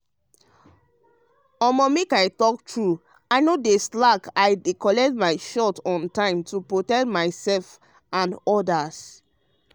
make i talk true i no dey slack i dey collect my shot on time to protect myself and others.